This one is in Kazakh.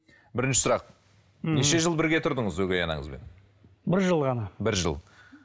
бірінші сұрақ неше жыл бірге тұрдыңыз өгей анаңызбен бір жыл ғана бір жыл